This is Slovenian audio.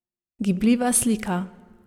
Gibljiva slika.